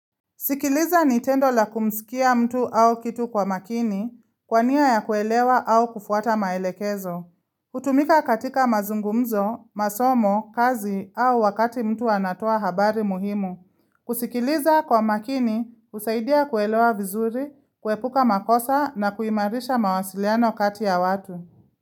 Sikiliza ni tendo la kumsikia mtu au kitu kwa makini, kwa nia ya kuelewa au kufuata maelekezo. Hutumika katika mazungumzo, masomo, kazi au wakati mtu anatoa habari muhimu. Kusikiliza kwa makini, husaidia kuelewa vizuri, kuepuka makosa na kuimarisha mawasiliano kati ya watu.